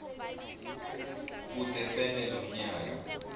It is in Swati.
kute sente lomnyaka